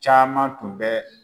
Caman tun bɛ.